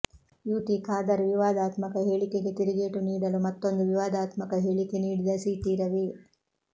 you T Khader ವಿವಾದಾತ್ಮಕ ಹೇಳಿಕೆಗೆ ತಿರುಗೇಟು ನೀಡಲು ಮತ್ತೊಂದು ವಿವಾದಾತ್ಮಕ ಹೇಳಿಕೆ ನೀಡಿದ ಸಿಟಿ ರವಿ